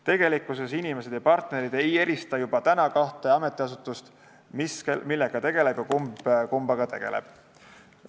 Tegelikkuses inimesed ja partnerid ei erista juba praegu kahte ametiasutust, nad ei tea, mis millega ja kumb kummaga tegeleb.